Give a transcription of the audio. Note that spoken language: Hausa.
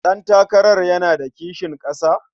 Ɗantakarar yana da kishin ƙasa?